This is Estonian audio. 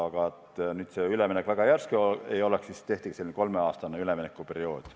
Aga et see üleminek väga järsk ei oleks, siis tehtigi selline kolmeaastane üleminekuperiood.